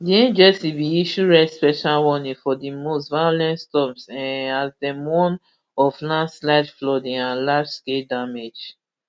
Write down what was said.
di agency bin issue rare special warning for di most violent storms um as dem warn of landslides flooding and largescale damage